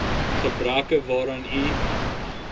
gebreke waaraan u